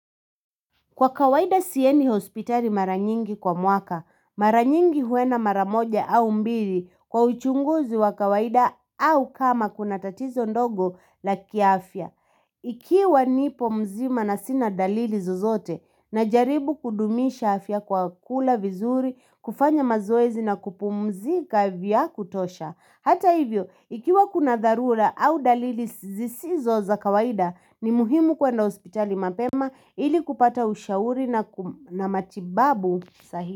Kwa kawaida siendi hospitali mara nyingi kwa mwaka, mara nyingi huenda mara moja au mbili kwa uchunguzi wa kawaida au kama kuna tatizo ndogo la kiafya. Ikiwa nipo mzima na sina dalili zozote na jaribu kudumisha afya kwa kula vizuri, kufanya mazoezi na kupumzika vya kutosha. Hata hivyo, ikiwa kuna dharura au dalili zisizo za kawaida, ni muhimu kuenda hospitali mapema ili kupata ushauri na matibabu sahihi.